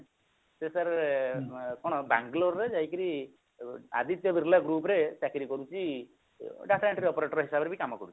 ସେ sir କଣ Bangalore ରେ ଯାଇକିରି ଆଦିତ୍ୟ ବିର୍ଲା group ରେ ଚାକିରି କରୁଛି data entry operator ହିସାବରେ ବି କାମ କରୁଛି